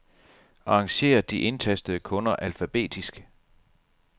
Arrangér de indtastede kunder alfabetisk.